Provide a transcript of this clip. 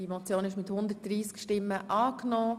Sie haben die Motion angenommen.